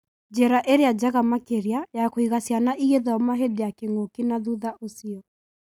Njĩra ĩrĩa njega makĩria ya kũiga ciana ĩgĩthoma hĩndĩ ya kĩng'ũki na thutha ũcio.